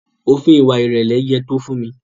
Òfin ìwà ìrẹ̀lẹ̀ yé Tofunmi.